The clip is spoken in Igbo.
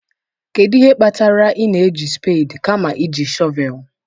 Kedu ihe kpatara ị na-eji spedii kama iji shọvel?